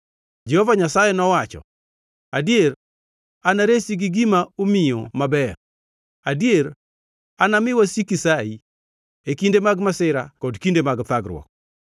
Jehova Nyasaye nowacho, “Adier anaresi gi gima omiyo maber; adier anami wasiki sayi, e kinde mag masira kod kinde mag thagruok.